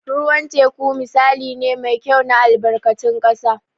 Ruwan teku misali ne mai kyau na albarkatun ƙasa.